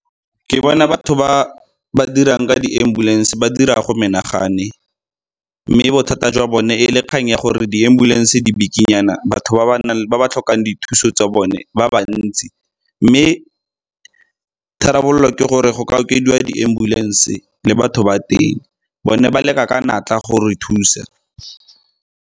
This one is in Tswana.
Ke bona batho ba ba dirang ka di-ambulance ba dira go menagane, mme bothata jwa bone e le kgang ya gore di-ambulance di bikinyana batho ba ba tlhokang dithuso tsa bone ba ba ntsi mme tharabololo ke gore go ka okediwa di ambulance le batho ba teng, bone ba leka ka natla go re thusa.